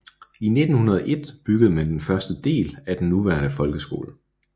I 1901 byggede man første del af den nuværende folkeskole